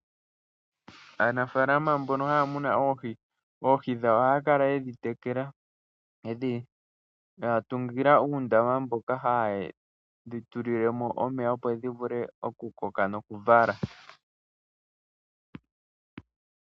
Aanafalama mbono haya munu oohi ohaya kala yedhi tungila uundama mono ha yedhi tulilemo omeya, opo dhi vule okukoka nokuvala.